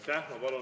Aitäh!